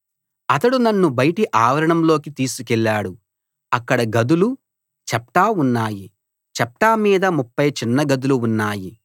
అతడు నన్ను బయటి ఆవరణంలోకి తీసికెళ్ళాడు అక్కడ గదులు చప్టా ఉన్నాయి చప్టా మీద 30 చిన్నగదులు ఉన్నాయి